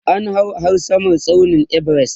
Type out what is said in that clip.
an hau har Samar tsaunin Everest